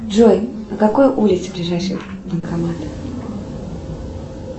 джой на какой улице ближайший банкомат